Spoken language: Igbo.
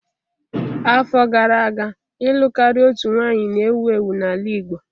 Afọ gara aga, ịlụ karịa otu nwanyị na-ewu ewu n'ala Igbo.